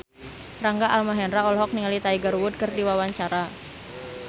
Rangga Almahendra olohok ningali Tiger Wood keur diwawancara